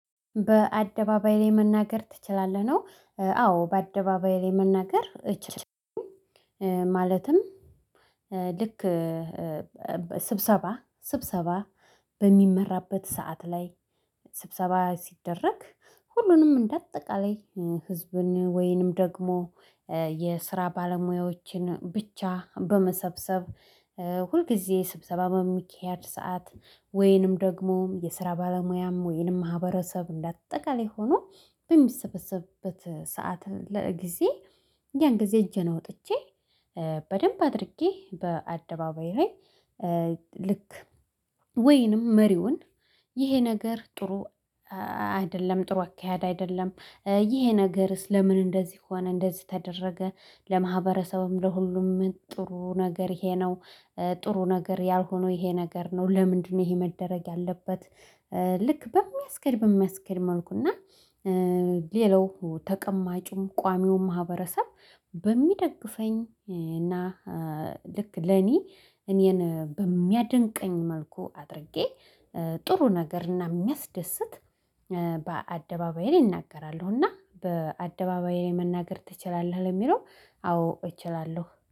በአደባባይ ላይ መናገር ትችላለህ ነው? አዎ በአደባባይ ላይ መናገር እችላለሁ። ማለትም ልክ ስብሰባ ስብሰባ በሚመራበት ሰዓት ላይ ስብሰባ ሲደረግ ሁሉንም እንደ አጠቃላይ ህዝብን ወይንም ደግሞ የስራ ባለሙያዎችን ብቻ በመሰብሰብ ሁልጊዜ ስብሰባ በሚካሄድ ሰዓት ወይንም ደግሞ የስራ ባለሙያም ወይንም ማህበረሰብ እንዳጠቃለይ ሆኖ በሚሰበሰብበት ሰዓት ለጊዜ ያን ጊዜ እጄን አውጥቼ በደንብ አድርጌ በአደባባይ ላይ ልክ ወይንም መሪውን ይሄ ነገር ጥሩ አይደለም ጥሩ አካሄድ አይደለም ይሄ ነገርስ ለምን እንደዚህ ሆነ እንደዚህ ተደረገ ለማህበረሰብም ለሁሉም ጥሩ ነገር ይሄ ነው። ጥሩ ነገር ያልሆነው ይሄ ነገር ነው ለምንድነው ይሄ መደረግ ያለበት? ልክ በሚያስኬድ በሚያስኬድ መልኩ እና ሌላው ተቀማጭም ቋሚውም ማህበረሰብ በሚደግፈኝ እና ልክ ለኔ እኔን በሚያደንቀኝ መልኩ አድርጌ ጥሩ ነገር እና የሚያስደስት በአደባባይ ላይ እናገራለሁ እና በአደባባይ ላይ መናገር ትችላለህ ለሚለው አዎ እችላለሁ።